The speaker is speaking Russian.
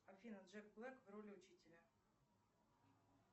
афина джек блэк в роли учителя